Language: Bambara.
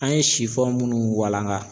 An ye munnu walaŋa